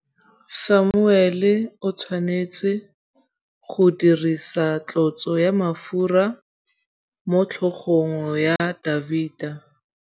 Samuele o tshwanetse go dirisa tlotsô ya mafura motlhôgong ya Dafita.